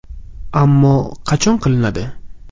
Ammo qachon qilinadi?